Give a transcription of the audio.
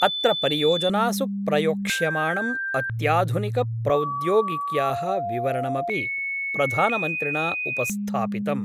अत्र परियोजनासु प्रयोक्ष्यमाणं अत्याधुनिक प्रौद्योगिक्या: विवरणमपि प्रधानमन्त्रिणा उपस्थापितम्।